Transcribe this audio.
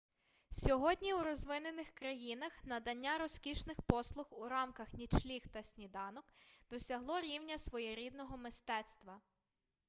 сьогодні у розвинених країнах надання розкішних послуг у рамках нічліг та сніданок досягло рівня своєрідного мистецтва